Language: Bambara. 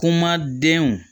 Kuma denw